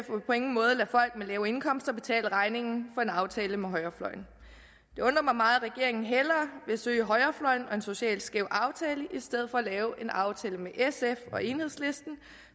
på ingen måde lade folk med lave indkomster betale regningen for en aftale med højrefløjen det undrer mig meget at regeringen hellere vil søge højrefløjen og en socialt skæv aftale i stedet for at lave en aftale med sf og enhedslisten